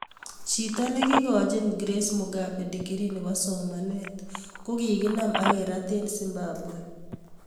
Chito nekikachin Grace Mugabe dikirii nebo somanet kokinam akerat eng Zimbabwe